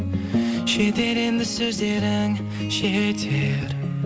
жетер енді сөздерің жетер